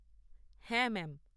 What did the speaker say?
হ্যাঁ ম্যাম।